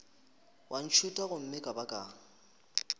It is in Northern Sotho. wa ntšhutha gomme ka baka